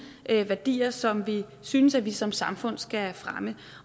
værdier som vi synes vi som samfund skal fremme